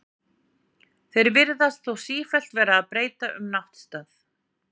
Þeir virðast þó sífellt vera að breyta um náttstað.